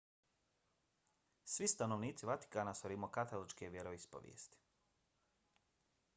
svi stanovnici vatikana su rimokatoličke vjeroispovesti